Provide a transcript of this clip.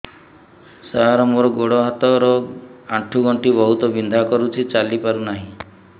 ସାର ମୋର ଗୋଡ ହାତ ର ଆଣ୍ଠୁ ଗଣ୍ଠି ବହୁତ ବିନ୍ଧା କରୁଛି ଚାଲି ପାରୁନାହିଁ